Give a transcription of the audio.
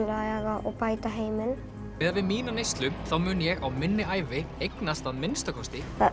laga og bæta heiminn miðað við mína neyslu þá mun ég á minni ævi eignast að minnsta kosti það